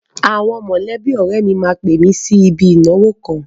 Àwọn mọ̀lẹ́bí ọ̀rẹ́ mi máa pè mi sí ibi ìnáwó kan.